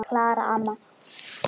Klara amma.